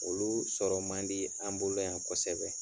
Olu sɔrɔ man di an bolo yan kosɛbɛ.